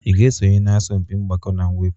Ị ga-esonye na asọmpi mgbakọ na mwepụ?